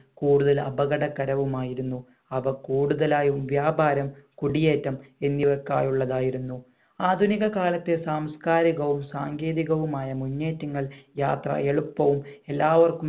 കൂടുതൽ അപകട കരവുമായിരുന്നു അവ കൂടുതലായും വ്യാപാരം കുടിയേറ്റം എന്നിവക്കായുള്ളതായിരുന്നു ആധുനിക കാലത്തെ സാംസ്കാരികവും സാങ്കേതികവുമായ മുന്നേറ്റങ്ങൾ യാത്ര എളുപ്പവും എല്ലാവർക്കും